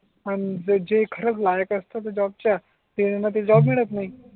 आणि जे खऱ्याच लायक असतात जॉबच्या ते म्हणते जॉब हम्म मिळत नाही